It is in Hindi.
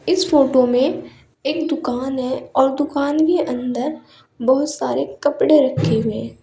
इस फोटो में एक दुकान है और दुकान के अंदर बहुत सारे कपड़े रखे हुए है।